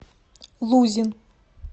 лузин